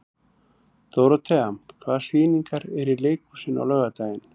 Dórothea, hvaða sýningar eru í leikhúsinu á laugardaginn?